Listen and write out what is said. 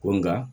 Ko nka